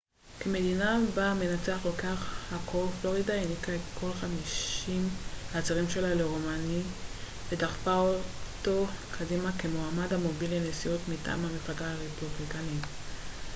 כמדינה בה המנצח לוקח הכל פלורידה העניקה את כל חמישים הצירים שלה לרומני ודחפה אותו קדימה כמועמד המוביל לנשיאות מטעם המפלגה הרפובליקאית